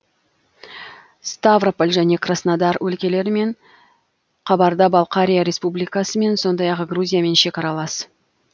ставрополь және краснодар өлкелерімен қабарда балқария республикасымен сондай ақ грузиямен шекаралас